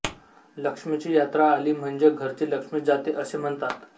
लक्ष्मीची यात्रा आली म्हणजे घरची लक्ष्मी जाते असे म्हणतात